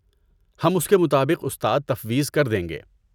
ہم اس کے مطابق استاد تفویض کر دیں گے۔